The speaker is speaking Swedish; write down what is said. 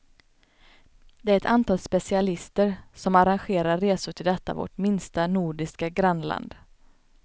Det är ett antal specialister, som arrangerar resor till detta vårt minsta nordiska grannland.